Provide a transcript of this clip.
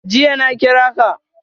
Jiya na kira ka.